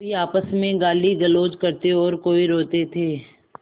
कोई आपस में गालीगलौज करते और कोई रोते थे